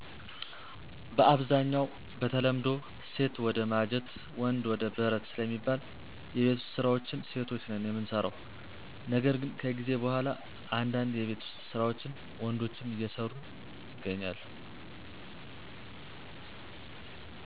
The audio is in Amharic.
በአብዛኛው በተለምዶ ሴት ወደ ማጀት ወንድ ወደ በረት ስለሚባል የቤት ውስጥ ስራዎችን ሴቶች ነን የምንሰራው ነገር ግን ከጊዜ በኋላ እንዳንድ የቤት ውስጥ ስራዎችን ወንዶችም አየሰሩ ይሰራሉ።